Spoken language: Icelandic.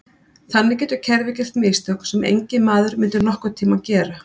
Þannig getur kerfið gert mistök sem enginn maður myndi nokkurn tíma gera.